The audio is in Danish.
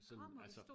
Sådan altså